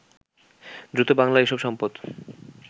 দ্রুত বাংলার এসব সম্পদ